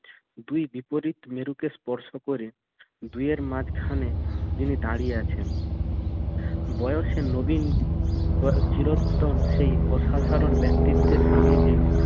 দুই বিপরীত মেরুকে স্পর্শ করে দুয়ের মাঝখানে তিনি দাঁড়িয়ে আছেন। বয়সে নবীন চিরোত্তম সেই অসাধারণ ব্যক্তিত্বের সান্নিধ্যে